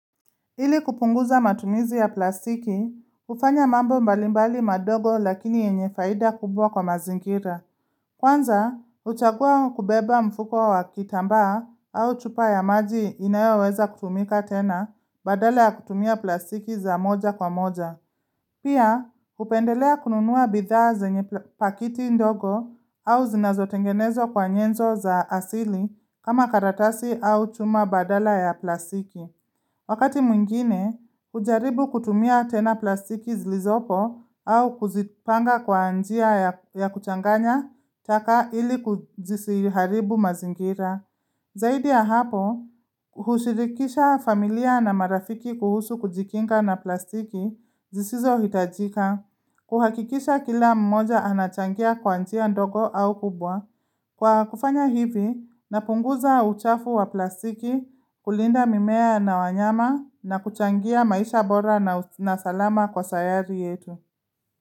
Hili kupunguza matumizi ya plastiki, ufanya mambo mbalimbali madogo lakini yenye faida kubwa kwa mazingira. Kwanza, uchagua kubeba mfuko wa kitambaa au chupa ya maji inayoweweza kutumika tena badala ya kutumia plastiki za moja kwa moja. Pia, kupendelea kununua bidhaa zenye pakiti ndogo au zinazotengenezwa kwa nyenzo za asili kama karatasi au chuma badala ya plastiki. Wakati mwingine, kujaribu kutumia tena plastiki zilizopo au kuzipanga kwa anjia ya kuchanganya taka ili kuzisiharibu mazingira. Zaidi ya hapo, hushirikisha familia na marafiki kuhusu kujikinga na plastiki zisizo hitajika. Kuhakikisha kila mmoja anachangia kwanjia ndoko au kubwa. Kwa kufanya hivi, napunguza uchafu wa plastiki kulinda mimea na wanyama na kuchangia maisha bora na salama kwa sayari yetu.